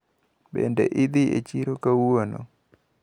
Bende idhi e chiro kawuono?